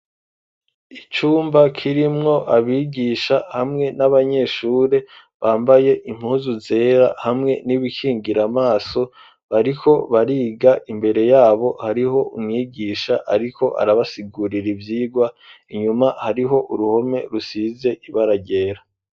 icumba kirimwo abigisha hamwe n'abanyeshuri bambaye impuzu zera hamwe n'ibikingiramaso bariko bariga imbere yabo hariho umwigisha ariko arabasigurira ibyigwa inyuma hariho uruhome rusize ibara ryera.